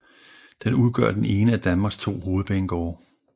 Den udgør den ene af Danmarks to hovedbanegårde